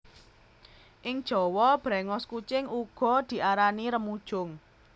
Ing Jawa bréngos kucing uga diarani remujung